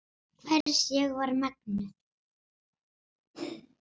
Hvers ég var megnug.